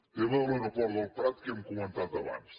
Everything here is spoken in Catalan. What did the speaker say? tema de l’aeroport del prat que hem comentat abans